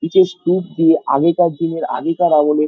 কিছু স্তুপকে আগেকার দিনের আগেকার আমলের--